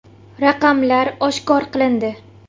Raqamlar oshkor qilindi.